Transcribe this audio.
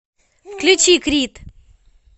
включи крид